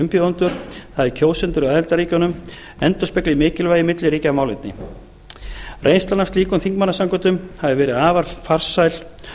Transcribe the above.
umbjóðendur það er kjósendur að aðildarríkjunum endurspegli mikilvægi milliríkjamálefni reynslan af slíkum þingmannasamkundum hefur verið afar farsæl